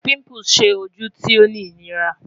Pimples ṣe oju ti o ni inira